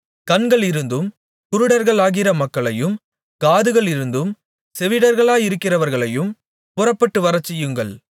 கண்களிருந்தும் குருடர்களாயிருக்கிற மக்களையும் காதுகளிருந்தும் செவிடர்களாயிருக்கிறவர்களையும் புறப்பட்டு வரச்செய்யுங்கள்